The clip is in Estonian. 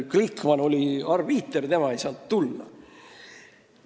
Glikman oli arbiiter, tema ei saanud tulla.